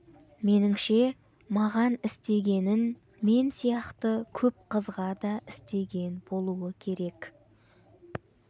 меніңше маған істегенін мен сияқты көп қызға да істеген болу керек